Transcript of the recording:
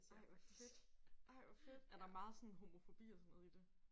Ej hvor fedt ej hvor fedt. Er der meget homofobi og sådan noget i det?